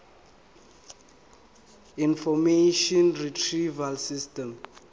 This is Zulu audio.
information retrieval system